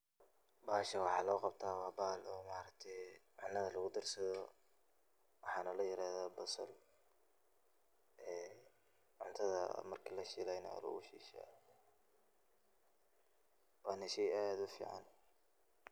Bahashan waxay loo qabtaa waa bahal ma aragte cunada lugu darsado waxana la yirahda basal, cunada marki lashilay na waa lugu shiisha wana shey ad u fican